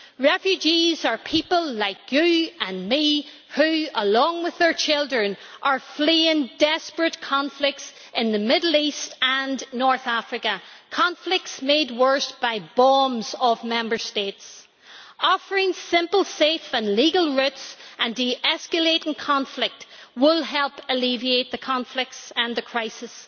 Refugees are people like you and me who, along with their children, are fleeing desperate conflicts in the Middle East and North Africa conflicts made worse by the bombs of Member States. Offering simple, safe and legal routes and de escalating conflict will help alleviate the conflicts and the crisis.